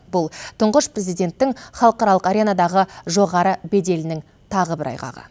бұл тұңғыш президенттің халықаралық аренадағы жоғары беделінің тағы бір айғағы